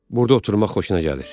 Burda oturmaq xoşuna gəlir.